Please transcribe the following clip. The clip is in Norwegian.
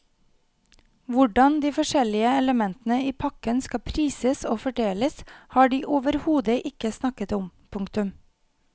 Hvordan de forskjellige elementene i pakken skal prises og fordeles har de overhodet ikke snakket om. punktum